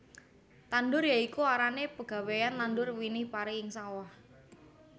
Tandur ya iku arane pegawéyan nandur winih pari ing sawah